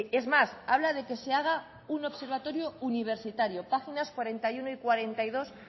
es más habla de que se haga un observatorio universitario páginas cuarenta y uno y cuarenta y dos